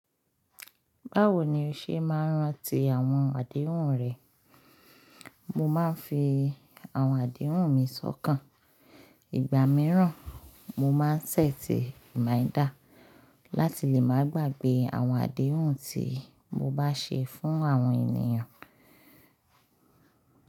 Báwo ni o ṣe máa ń rántí àwọn àdéhùn rẹ? Mo máa ń fi àwọn àdéhùn mi sọ́kàn. Ìgbà mìíràn, mo máa ń set reminder láti lè máa gbàgbé àwọn àdéhùn tí mo bá ṣe fún àwọn ènìyàn.